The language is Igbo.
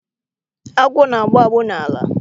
Agwọ na-agbụ agbụ n'ala.